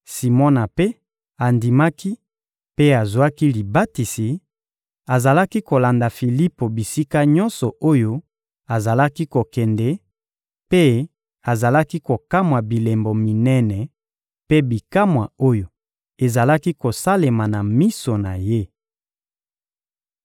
Simona mpe andimaki mpe azwaki libatisi; azalaki kolanda Filipo bisika nyonso oyo azalaki kokende, mpe azalaki kokamwa bilembo minene mpe bikamwa oyo ezalaki kosalema na miso na ye.